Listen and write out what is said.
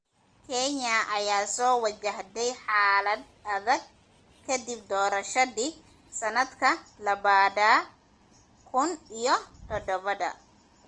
Kenya ayaa soo wajahday xaalad adag kadib doorashadii sanadka labada kun iyo todobada.